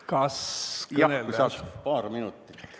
Kas saaks paar minutit veel?